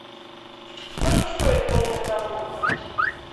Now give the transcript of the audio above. сколько стоит конная прогулка